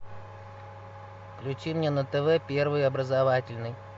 включи мне на тв первый образовательный